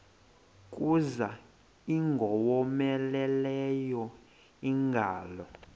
kuza ingowomeleleyo ingalo